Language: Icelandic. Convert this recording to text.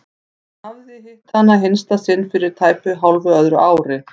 Hann hafði hitt hana í hinsta sinn fyrir tæpu hálfu öðru ári.